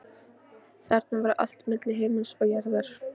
Þarna var allt milli himins og jarðar.